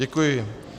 Děkuji.